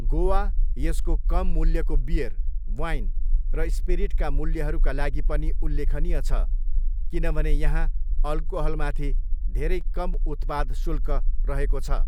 गोवा यसको कम मूल्यको बियर, वाइन र स्पिरिटका मूल्यहरूका लागि पनि उल्लेखनीय छ, किनभने यहाँ अल्कोहलमाथि धेरै कम उत्पाद शुल्क रहेको छ।